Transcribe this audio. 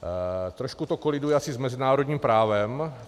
Trošku to koliduje asi s mezinárodním právem.